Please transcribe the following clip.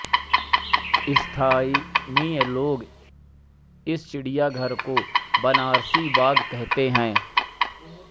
स्थानीय लोग इस चिड़ियाघर को बनारसी बाग कहते हैं